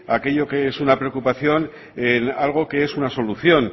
aquello que es una preocupación en algo que es una solución